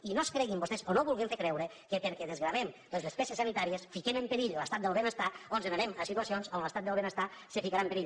i no es creguin vostès o no vulguin fer creure que perquè desgravem les despeses sanitàries posem en perill l’estat del benestar o anem a situacions on l’estat del benestar es ficarà en perill